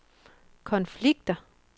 konflikter